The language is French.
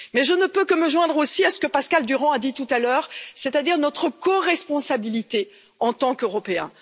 Et je ne peux que me joindre aussi à ce que Pascal Durand a dit tout à l'heure, c'est à dire notre coresponsabilité en tant qu'Européens.